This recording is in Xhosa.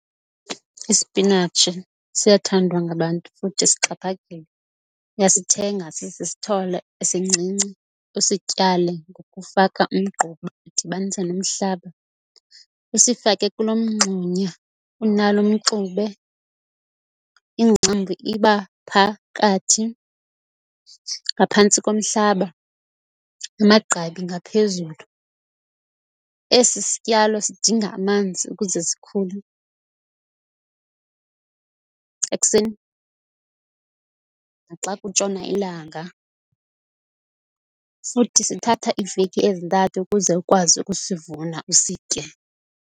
Isipinatshi siyathandwa ngabantu futhi sixhaphakile, uyasithenga sisisithole esincinci usityale ngokufaka umgquba udibanise nomhlaba. Usifake kuloo mngxunya unalo mxube ingcambu iba phakathi ngaphantsi komhlaba, amagqabi ngaphezulu. Esi sityalo sidinga amanzi ukuze sikhule ekuseni naxa kutshona ilanga, futhi sithatha iveki ezintathu ukuze ukwazi ukusivuna usitye.